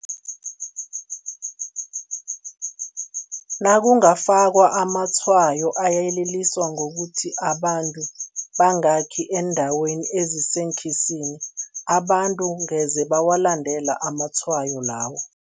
Nakungafakwa amatshwayo ayeleliswa ngokuthi abantu bangakhi eendaweni eziseenkhisini, abantu ngeze bawalandela amatshwayo lawo.